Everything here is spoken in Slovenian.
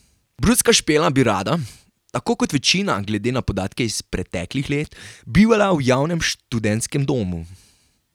Brucka Špela bi rada, tako kot večina glede na podatke iz preteklih let, bivala v javnem študentskem domu.